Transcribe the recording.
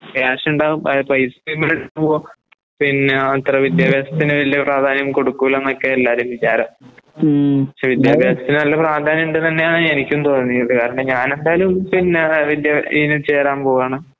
ക്യാഷുണ്ടാവും അഹ്പൈസയുംകൂടെ പിന്നെ അത്രവിദ്യാഭാസത്തിന് വലയപ്രാധാന്യംകൊടുക്കൂല്ലാന്നൊക്കെയെല്ലാരുംവിചാരം. വിദ്യാഭാസത്തിന് നല്ലപ്രാധാന്യണ്ട്തന്നെയാണ് എനിക്കുംതോന്നിയത്. കാരണം ഞാനെന്തായാലും പിന്നെ അത് അതിൻ്റ ഇതിചേരാൻപോവാണ്.